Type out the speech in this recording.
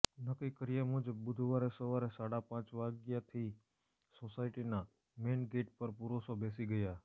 નકકી કર્યા મુજબ બુઘવારે સવારે સાડાપાંચ વાગ્યાથી સોસાયટીના મેઇન ગેઇટ પર પુરુષો બેસી ગયા